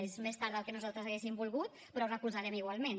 és més tard del que nosaltres hauríem volgut però ho recolzarem igualment